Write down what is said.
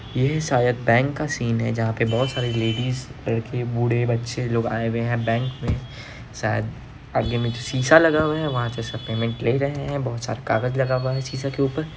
ये शायद बैंक का सीन है जहाँ पे बहुत सारे लेडिस बूढ़े बच्चे लोग आए हैं बैंक में| शायद यह शीशा लगा हुआ है वहाँ से सब पेमेंट ले रहे हैं बहुत सारे कागज लगा हुआ है शीशा के ऊपर।